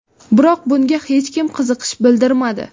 Biroq bunga hech kim qiziqish bildirmadi.